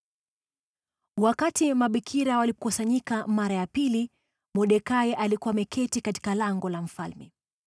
Wakati mabikira walikusanyika mara ya pili, Mordekai alikuwa ameketi katika lango la mfalme.